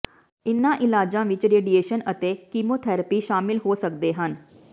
ਇਨ੍ਹਾਂ ਇਲਾਜਾਂ ਵਿੱਚ ਰੇਡੀਏਸ਼ਨ ਅਤੇ ਕੀਮੋਥੈਰੇਪੀ ਸ਼ਾਮਲ ਹੋ ਸਕਦੇ ਹਨ